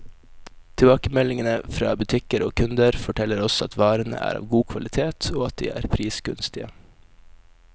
Tilbakemeldingene fra butikker og kunder, forteller oss at varene er av god kvalitet, og at de er prisgunstige.